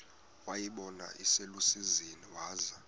wayibona iselusizini waza